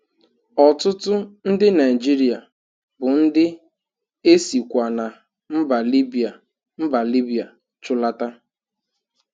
Ọtụtụ ndi Naịjịrịa bụ ndi e sikwa na mba Libya mba Libya chụlata.